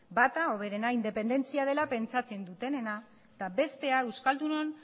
bata hoberena independentzia dela pentsatzen dutenena eta bestea euskaldunon